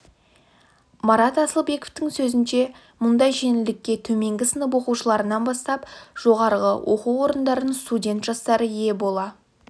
марат асылбековтың сөзінше мұндай жеңілдікке төменгі сынып оқушыларынан бастап жоғарғы оқу орындарының студент жастары ие бола